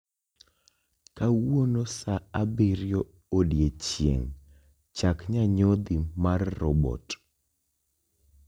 kawuono sa abiriyo odiechieng' chak nyanyodhi mar robot